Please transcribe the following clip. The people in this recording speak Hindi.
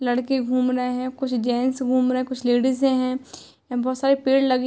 लड़के घूम रहे हैं। कुछ जेंट्स घूम रहे हैं कुछ लडिजें हैं बहोत सारे पेड़ लगे --